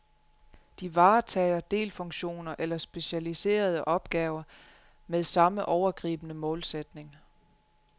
De varetager delfunktioner, eller specialiserede opgaver, med samme overgribende målsætning.